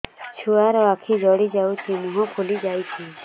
ଛୁଆର ଆଖି ଜଡ଼ି ଯାଉଛି ମୁହଁ ଫୁଲି ଯାଇଛି